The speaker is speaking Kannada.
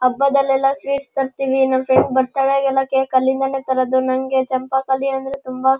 ಹಬ್ಬದಲ್ಲೆಲ್ಲ ಸ್ವೀಟ್ಸ್ ತರಿಸ್ತಿವಿ ನಮ್ ಫ್ರೆಂಡು ಬರ್ತಡೆ ಗೆಲ್ಲ ಕೇಕು ಅಲ್ಲಿಂದಾನೆ ತರೋದು ನಂಗೆ ಚಂಪಕಾಲೀ ಅಂದ್ರೆ ತುಂಬ --